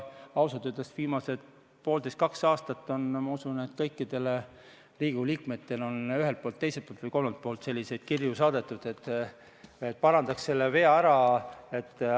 Ausalt öeldes viimased poolteist või kaks aastat on, ma usun, kõikidele Riigikogu liikmetele on ühelt, teiselt või kolmandalt poolt saadetud selliseid kirju, et me parandaks selle vea ära.